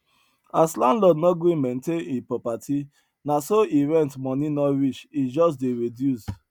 as landlord no gree maintain hin property na so he rent money no reach e just dey reduce